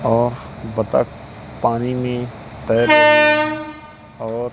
और बतख पानी में तैर रही है और --